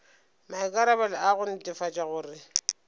maikarabelo a go netefatša gore